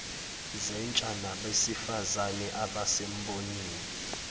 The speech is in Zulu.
zentsha nabesifazane abasembonini